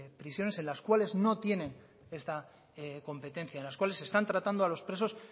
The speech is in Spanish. prisiones en la cuales no tiene esta competencia en las cuales se están tratando a los presos